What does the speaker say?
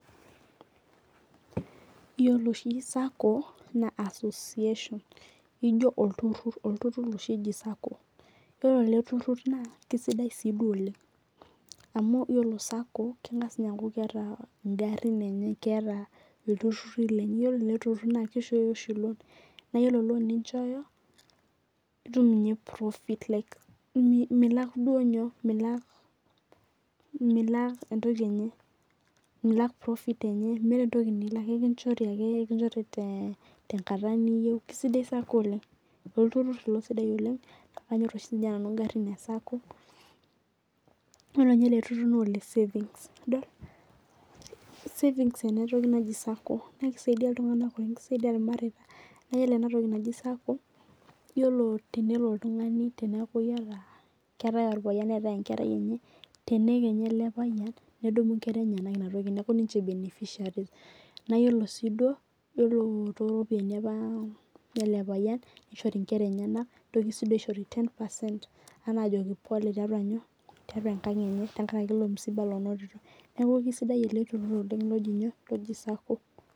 Iyiolo oshi circle naa association ijo olturur olturur oshi eji circle iyolo eleturur naa kesidai ssiii duo oleng' amu iyiolo circle kengas ninye aakuu keeta igarin enye keeta olturur lenye. Iyiolo ele turur naa kishoyo oshi loan. Naa iyiolo loan ninchoyo itum ninye profit like milak duo nyoo? Milak profit enye meeta entoki nilak ikinchori ake tenkata niyou. Kisidai cirlcle oleng'. Olturur ilo sidai oleng' naa kanyor oshii ninye nanu igarin ee circle iyilo ninte lee turu naa ole savings idol. savings ena toki naji cirlcle naa kisaidi iltung'ana pookin kisiadi irmareta. Naa iyiolo ena roki naji cirlcle iyiolo tenelo oltung'ani teeneku iyata keetae orpayian neetae enkerai enye tenee kenya ele payian nedunu inkera enyenak ina toki neeku ninche beneficiaries naa iyiolo sii duo iyiolo too nena ropiani olilo payian ninshori inkera enyenaki nitokini aisho ten percent anaa ajoki pole taitaua enkang' enye tenkaraki ilo msiba onotito. Neeku kisaidai ilo turur oleng'